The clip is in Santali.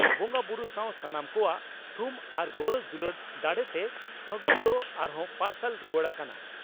ᱵᱚᱸᱜᱟᱵᱩᱨᱩ ᱥᱟᱣ ᱥᱟᱱᱟᱢ ᱠᱚᱣᱟᱜ ᱛᱷᱩᱢ ᱟᱨ ᱜᱚᱨᱚᱡᱽ ᱫᱩᱞᱟᱹᱲ ᱫᱟᱲᱮᱛᱮ ᱯᱷᱟᱹᱜᱩᱱ ᱫᱚ ᱟᱨᱦᱚᱸ ᱯᱟᱨᱥᱟᱞ ᱨᱩᱣᱟᱹᱲ ᱟᱠᱟᱱᱟ ᱾